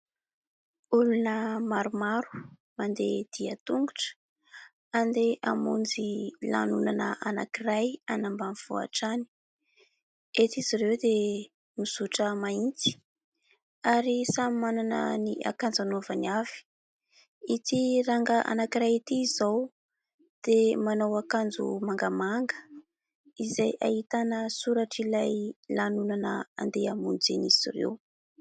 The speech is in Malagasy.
Olona maromaro mandeha dian-tongotra andeha hamonjy lanonana anankiray any ambanivohitra any. Eto izy ireo dia mizotra mahitsy ary samy manana ny akanjo anaovany avy. Ity rangahy anankiray ity izao dia manao akanjo mangamanga izay ahitana soratr'ilay lanonana andeha hamonjen'izy ireo.